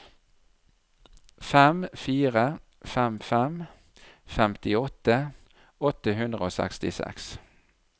fem fire fem fem femtiåtte åtte hundre og sekstiseks